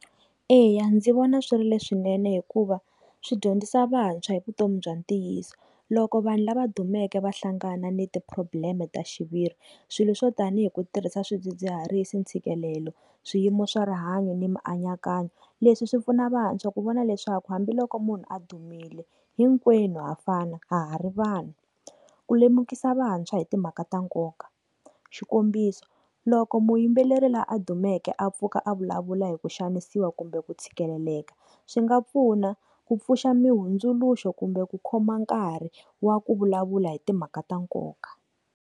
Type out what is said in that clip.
Eya, ndzi vona swi ri leswinene hikuva swi dyondzisa vantshwa hi vutomi bya ntiyiso loko vanhu lava dumeke va hlangana ni ti problem ta xiviri swilo swo tanihi ku tirhisa swidzidziharisi, ntshikelelo, swiyimo swa rihanyo ni mianakanyo leswi swi pfuna vantshwa ku vona leswaku hambiloko munhu a dumile hinkwenu hafana hari vanhu ku lemukisa vantshwa hi timhaka ta nkoka xikombiso loko muyimbeleri laha a dumeke a pfuka a vulavula hi ku xanisiwa kumbe ku tshikeleleka swi nga pfuna, ku pfuxa mi hundzuluxo kumbe ku khoma nkarhi wa ku vulavula hi timhaka ta nkoka.